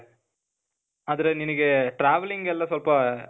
ಆದ್ರೆ, ನಿನಿಗೇ travelling ಎಲ್ಲ ಸ್ವಲ್ಪ,